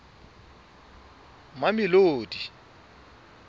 mamelodi